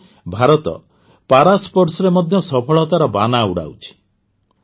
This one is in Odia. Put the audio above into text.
ଆଜି ଭାରତ ପାରାସ୍ପୋର୍ଟସରେ ମଧ୍ୟ ସଫଳତାର ବାନା ଉଡ଼ାଉଛି